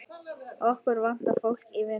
Okkur vantar fólk í vinnu.